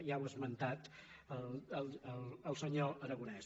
ja ho ha esmentat el senyor aragonès